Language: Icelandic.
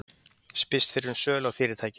Spyrst fyrir um sölu á fyrirtækjum